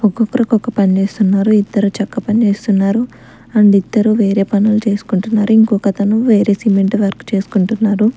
ఒక్కొక్కరు ఒక్కొక్క పని చేస్తున్నారు ఇద్దరు చెక్క పని చేస్తున్నారు అండ్ ఇద్దరు వేరే పనులు చేసుకుంటున్నారు ఇంకొక అతను వేరే సిమెంట్ వర్క్ చేసుకుంటున్నారు.